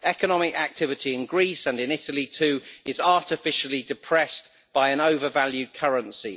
Economic activity in Greece, and in Italy too, is artificially depressed by an overvalued currency.